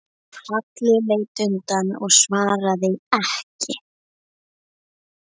Halli leit undan og svaraði ekki.